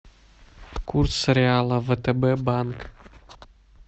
курс реала втб банк